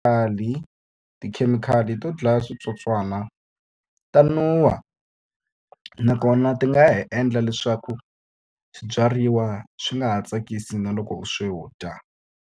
tikhemikhali to dlaya switsotswana ta nuha, nakona ti nga ha endla leswaku swibyariwa swi nga ha tsakisi na loko u swi dya.